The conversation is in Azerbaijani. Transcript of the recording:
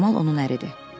Camal onun əridir.